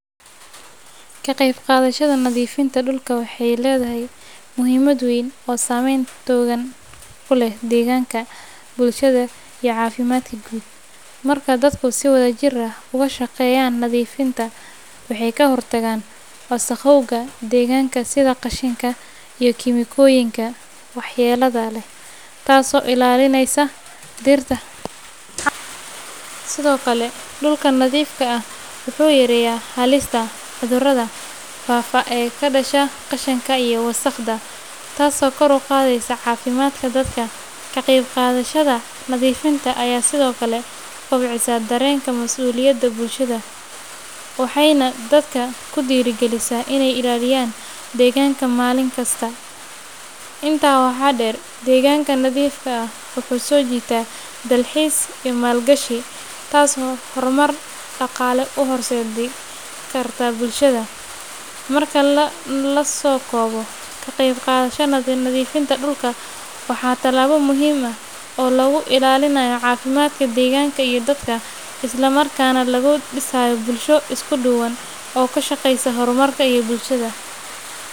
Ka qeyb qaadashada nadiifinta dhulka waxay leedahay muhiimad weyn oo saameyn togan ku leh deegaanka, bulshada, iyo caafimaadka guud. Marka dadku si wadajir ah uga shaqeeyaan nadiifinta, waxay ka hortagaan wasakhowga deegaanka sida qashinka iyo kiimikooyinka waxyeellada leh, taasoo ilaalinaysa dhirta, xayawaanka, iyo biyaha. Sidoo kale, dhulka nadiifka ah wuxuu yareeyaa halista cudurada faafa ee ka dhasha qashinka iyo wasakhda, taasoo kor u qaadaysa caafimaadka dadka. Ka qayb qaadashada nadiifinta ayaa sidoo kale kobcisa dareenka mas'uuliyadda bulshada, waxayna dadka ku dhiirrigelisaa inay ilaaliyaan deegaanka maalin kasta. Intaa waxaa dheer, deegaanka nadiifka ah wuxuu soo jiitaa dalxiis iyo maalgashi, taasoo horumar dhaqaale u horseedi karta bulshada. Marka la soo koobo, ka qeyb qaadashada nadiifinta dhulka waa tallaabo muhiim ah oo lagu ilaalinayo caafimaadka deegaanka iyo dadka, isla markaana lagu dhisayo bulsho isku duuban oo ka shaqeysa horumarka iyo bulshada.